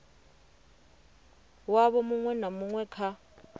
wavho muṅwe na muṅwe kha